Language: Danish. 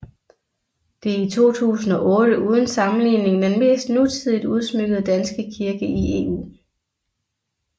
Det er i 2008 uden sammenligning den mest nutidigt udsmykkede danske kirke i EU